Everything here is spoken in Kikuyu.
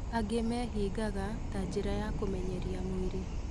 Angĩ meehingaga ta njĩra ya kũmenyeria mwĩrĩ